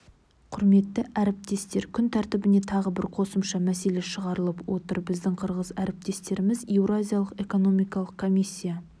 құрметті әріптестер күн тәртібіне тағы бір қосымша мәселе шығарылып отыр біздің қырғыз әріптестеріміз еуразиялық экономикалық комиссия